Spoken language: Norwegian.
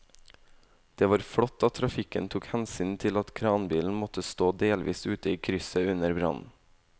Det var flott at trafikken tok hensyn til at kranbilen måtte stå delvis ute i krysset under brannen.